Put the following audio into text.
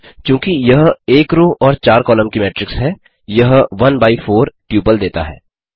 चूँकि यह एक रो और चार कॉलम की मेट्रिक्स है यह वन बाई फोर ट्यूपल देता है